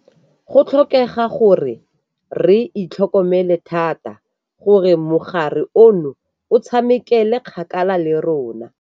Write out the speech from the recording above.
Go tlhokega gore re itlhokomele thata gore mogare ono o tshamekele kgakala le rona.